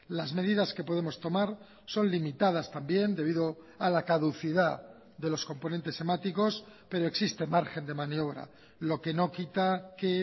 las medidas que podemos tomar son limitadas también debido a la caducidad de los componentes hemáticos pero existe margen de maniobra lo que no quita que